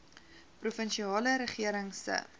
provinsiale regering se